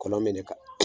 Kɔlɔn bɛ ne kan